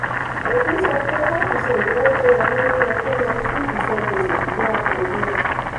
òfin sọ pé five percent owó tó wọlé lo yẹ kó lọ sí ìsan gbèsè ṣùgbọ́n a kò mú.